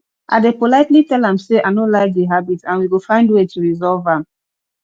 i dey politely tell am say i no like di habit and we go find way to resolve am